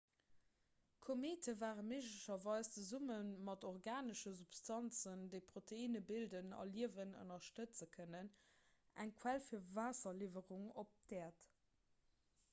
komete ware méiglecherweis zesumme mat organesche substanzen déi proteinne bilden a liewen ënnerstëtze kënnen eng quell fir waasserliwwerungen op d'äerd